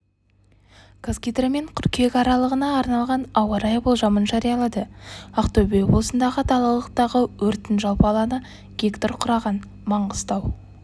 қазгидромет қыркүйек аралығына арналған ауа-райы болжамын жариялады ақтөбе облысындағы далалықтағы өрттің жалпы алаңы га құраған маңғыстау